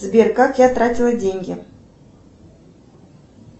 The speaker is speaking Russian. сбер как я тратила деньги